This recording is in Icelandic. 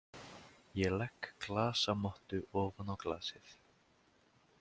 Ég legg glasamottu ofan á glasið.